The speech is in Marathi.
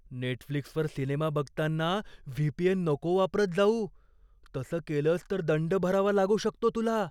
नेटफ्लिक्सवर सिनेमा बघताना व्ही.पी.एन. नको वापरत जाऊ. तसं केलंस तर दंड भरावा लागू शकतो तुला.